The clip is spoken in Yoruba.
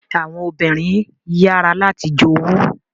Àwọn obìnrin yàrá láti jowu.